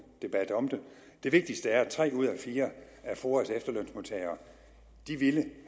debat om det det vigtigste er at tre ud af fire af foa’s efterlønsmodtagere ville